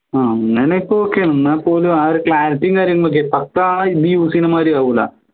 ആഹ് അങ്ങനെ ഇപ്പോ okay ആണ് എന്നാ പോലും ആ ഒരു clarity യും കാര്യങ്ങളും ഒക്കെ ഇത് use ചെയ്യുന്ന മാതിരി ആവൂല